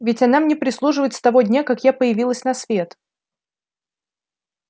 ведь она мне прислуживает с того дня как я появилась на свет